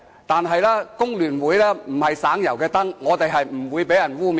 但是，工聯會不是省油的燈，我們是不會被人污衊的。